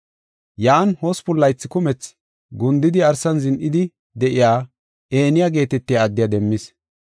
Yan hospun laythi kumethi gundidi arsan zin7idi de7iya Eniya geetetiya addiya demmis.